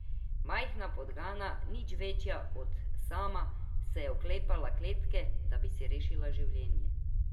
Majhna podgana, nič večja od Sama, se je oklepala kletke, da bi si rešila življenje.